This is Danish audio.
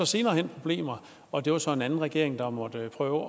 senere hen problemer og det var så en anden regering der måtte prøve